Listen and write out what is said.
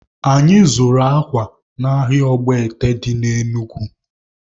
Anyị zụrụ akwa n'ahịa Ọgbọete dị na Enugu